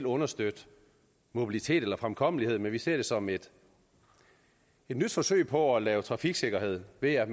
understøtte mobilitet eller fremkommelighed men vi ser det som et nyt forsøg på at lave trafiksikkerhed ved at